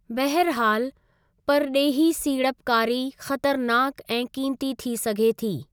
बहरिहालु, परॾेही सीड़पकारी ख़तरनाकु ऐं क़ीमती थी सघे थी।